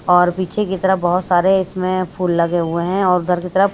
और पीछे की तरफ बहुत सारे इसमें फूल लगे हुए हैं और उधर की तरफ--